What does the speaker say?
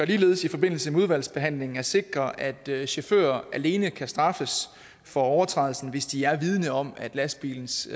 ligeledes i forbindelse med udvalgsbehandlingen at sikre at at chauffører alene kan straffes for overtrædelsen hvis de er vidende om at lastbilens